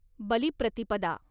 Balipratipada